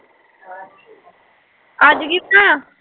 ਅੱਜ ਕੀ ਬਣਾਇਆ